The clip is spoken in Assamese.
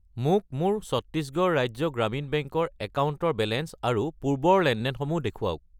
মোক মোৰ ছত্তিশগড় ৰাজ্য গ্ৰামীণ বেংক ৰ একাউণ্টৰ বেলেঞ্চ আৰু পূৰ্বৰ লেনদেনসমূহ দেখুৱাওক।